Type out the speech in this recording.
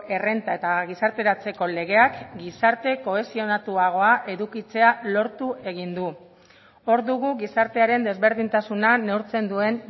errenta eta gizarteratzeko legeak gizarte kohesionatuagoa edukitzea lortu egin du hor dugu gizartearen desberdintasuna neurtzen duen